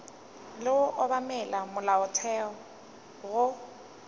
le go obamela molaotheo go